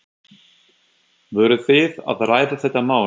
Voruð þið að ræða þetta mál?